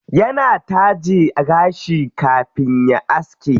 Yana taje gashi kafin ya aske.